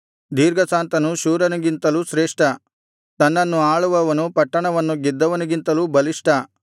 ದೀರ್ಘಶಾಂತನು ಶೂರನಿಗಿಂತಲೂ ಶ್ರೇಷ್ಠ ತನ್ನನ್ನು ಆಳುವವನು ಪಟ್ಟಣವನ್ನು ಗೆದ್ದವನಿಗಿಂತಲೂ ಬಲಿಷ್ಠ